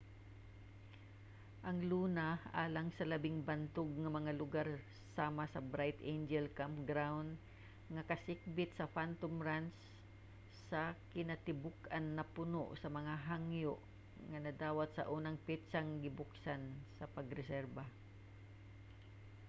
ang luna alang sa labing bantog nga mga lugar sama sa bright angel campground nga kasikbit sa phantom ranch sa kinatibuk-an napuno sa mga hangyo nga nadawat sa unang petsang gibuksan sa pagreserba